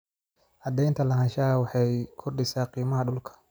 Cadaynta lahaanshaha waxay kordhisaa qiimaha dhulka.